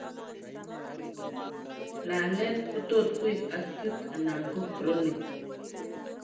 Laalet ko tot ko acute ala ko chronic